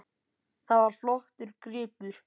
Það var flottur gripur.